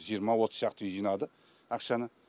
жиырма отыз шақты үй жинады ақшаны